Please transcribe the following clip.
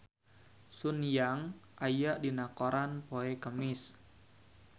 Sun Yang aya dina koran poe Kemis